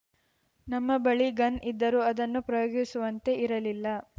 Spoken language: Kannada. ನಮ್ಮ ಬಳಿ ಗನ್‌ ಇದ್ದರೂ ಅದನ್ನು ಪ್ರಯೋಗಿಸುವಂತೆ ಇರಲಿಲ್ಲ